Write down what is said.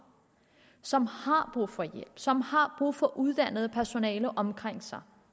som har brug for hjælp som har brug for uddannet personale omkring sig